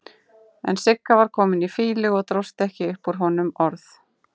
En Siggi var kominn í fýlu og dróst ekki upp úr honum orð.